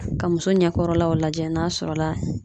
Ka muso ɲɛkɔrɔlaw lajɛ n'a sɔrɔla